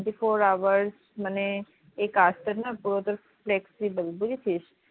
twenty four hours মানে এ কাজটার না পুরোটা flexible বুঝেছিস?